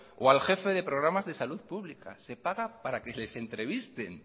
o al jefe de programas de salud pública se paga para que se les entrevisten